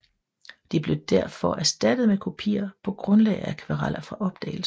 De blev derfor erstattet med kopier på grundlag af akvareller fra opdagelsen